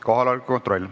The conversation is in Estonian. Kohaloleku kontroll.